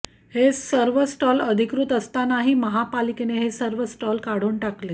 हे सर्व स्टॉल अधिकृत असतानाही महापालिकेने हे स्टॉल काढून टाकले